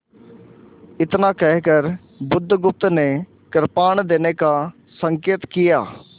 इतना कहकर बुधगुप्त ने कृपाण देने का संकेत किया